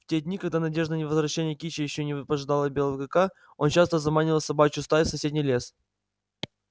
в те дни когда надежда на возвращение кичи ещё не пожидало белого клыка он часто заманивал собачью стаю в соседний лес